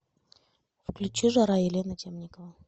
включи жара елена темникова